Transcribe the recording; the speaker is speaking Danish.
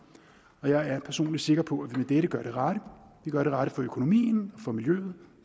og jeg er personlig sikker på at vi med dette gør det rette vi gør det rette for økonomien for miljøet